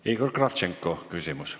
Igor Kravtšenko, küsimus.